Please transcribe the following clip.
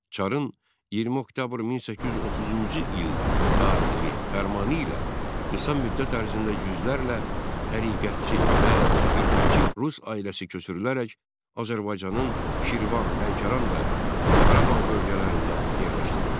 Çarın 20 oktyabr 1830-cu il tarixli fərmanı ilə qısa müddət ərzində yüzlərlə təriqətçi və bidətçi rus ailəsi köçürülərək Azərbaycanın Şirvan, Lənkəran və Qarabağ bölgələrində yerləşdirildi.